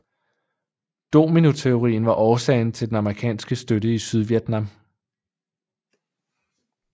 Dominoteorien var årsagen til den amerikanske støtte til Sydvietnam